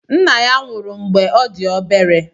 Nna ya nwụrụ mgbe ọ dị obere.